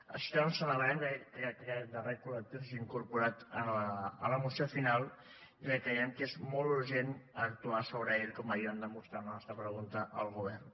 així doncs celebrem que aquest darrer col·lectiu s’hagi incorporat a la moció final ja que creiem que és molt urgent actuar sobre aquest com ahir vam demostrar amb la nostra pregunta al govern